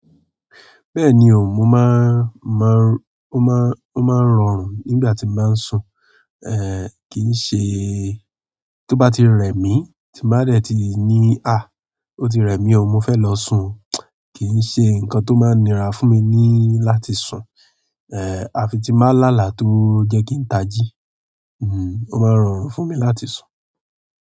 Bẹ́ẹ̀ni o, o máa ń rọrùn nígbà tí mo báa ń sùn. Kì í ṣe tó bá ti rẹ mí tí n bá dẹ̀ ti ní, ah, ó ti rẹ mí o, mo fẹ́ lọ sùn o, kì í ṣe nǹkan tó máa nira fún mi ní láti sùn. Àfi tí m ba lá àlà tó jẹ́ kí n tají, hmm, ó máa rọrùn fún mi láti sùn.